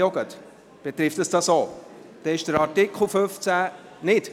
Ist Absatz 4 auch betroffen?